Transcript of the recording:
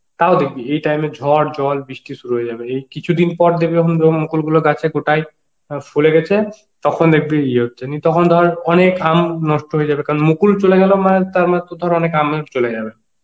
তাও দেখবি এই টাইমে ঝড় জল বৃষ্টি শুরু হয়ে যাবে এই কিছুদিন পর দেখবি যখন মুকুল গুলো গাছে , ফলে গেছে, তখন দেখবি তখন ধর অনেক আম নষ্ট হয়ে যাবে কারণ মুকুল চলে গেল মানে তার মানে তর ধর অনেল আম ও চলে যাবে